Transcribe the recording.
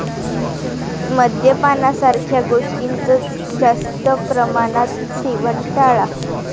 मद्यपानासारख्या गोष्टींचं जास्त प्रमाणात सेवन टाळा.